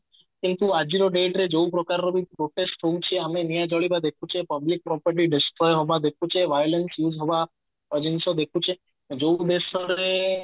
କିନ୍ତୁ ଆଜିର date ରେ ଯୋଉ ପ୍ରକାର ବି protest ହଉଛି ଆମେ ନିଆଁ ଜଳିବା ଦେଖୁଛେ public property destroy ହବା ଦେଖୁଛେ violence ହବା ଏ ଜିନିଷ ଦେଖୁଛେ ଯୋଉ ଦେଶରେ